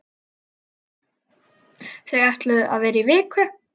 Þau ætluðu að vera í viku.